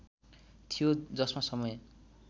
थियो जसमा समय